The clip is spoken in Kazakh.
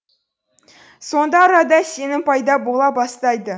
сонда арада сенім пайда бола бастайды